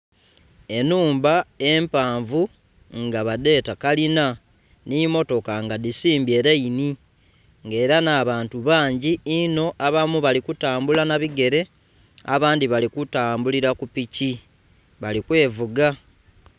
Enhumba empanvu nga badheta kalina nhi mmotoka nga dhisimbye layini, ng'ela nh'abantu bangi inho abamu bali kutambula nha bigele abandhi bali kutambulila ku piki bali kwevuga.